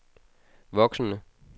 voksende